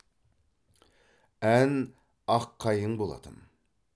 ән аққайың болатын